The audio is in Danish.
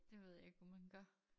Det ved jeg ikke hvordan man gør